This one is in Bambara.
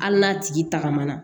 Hali n'a tigi tagama na